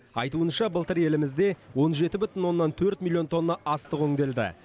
айтуынша былтыр елімізде он жеті бүтін оннан төрт миллион тонна астық өңделді